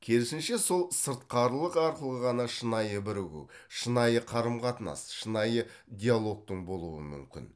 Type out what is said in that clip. керісінше сол сыртқарылық арқылы ғана шынайы бірігу шынайы қарым қатынас шынайы диалогтың болуы мүмкін